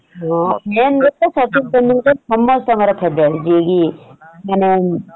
ହଁ men କଥା ସଚିନ୍ ତେନ୍ଦୁଲକର ସମସ୍ତଙ୍କର favourite ଯିଏ କି ମାନେ